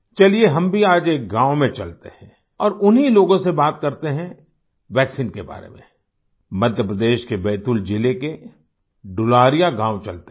चलिये हम भी आज एक गाँव में चलते हैं औरउन्हीं लोगों से बात करते हैं वैक्सीन के बारे में मध्य प्रदेश के बैतूल ज़िले के डुलारिया गाँव चलते हैं